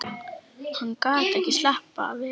Hann gat slappað vel af.